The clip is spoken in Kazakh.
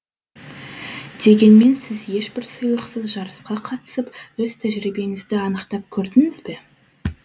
дегенмен сіз ешбір сыйлықсыз жарысқа қатысып өз тәжірибеңізді анықтап көрдіңіз бе